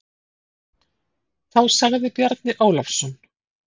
Þá sagði Bjarni Ólafsson